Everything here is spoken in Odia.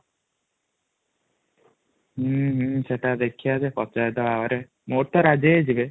ହଁ ହଁ ସେଇଟା ଦେଖିବା ଯେ ପଚାରିଦବା ଘରେ ମୋର ତ ରାଜ୍ୟ ହେଇଯିବେ |